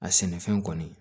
A sɛnɛfɛn kɔni